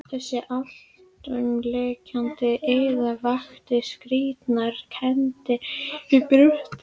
Þessi alltumlykjandi iða vakti skrýtnar kenndir í brjósti hans.